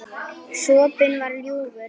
Sopinn var ljúfur.